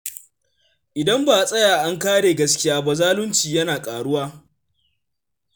Idan ba a tsaya an kare gaskiya ba, zalunci yana ƙaruwa.